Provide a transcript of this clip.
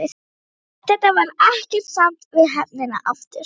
Eftir þetta varð ekkert samt við höfnina aftur.